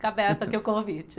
Fica aberto aqui o convite.